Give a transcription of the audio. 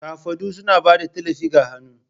Kafadu suna ba da tallafi ga hannu.